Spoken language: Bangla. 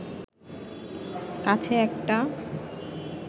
কাছে একটা